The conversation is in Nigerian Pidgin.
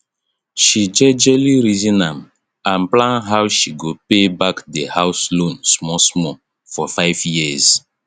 she jejely reason am and plan how she go pay back di house loan small small for 5 yrs